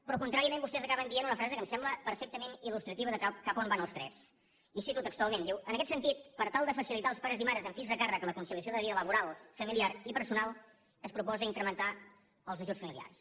però contràriament vostès acaben dient una frase que em sembla perfectament il·lustrativa de cap a on van els trets i cito textualment diu en aquest sentit per tal de facilitar als pares i mares amb fills a càrrec la conciliació de la vida laboral familiar i personal es proposa incrementar els ajuts familiars